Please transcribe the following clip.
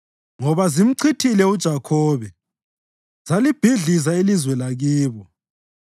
ngoba zimchithile uJakhobe zalibhidliza ilizwe lakibo.